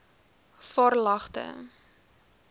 varelagte